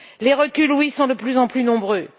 Les reculs sont de plus en plus nombreux.